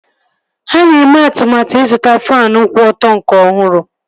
Ha na-eme atụmatụ ịzụta faanụ kwụ ọtọ nke ọhụrụ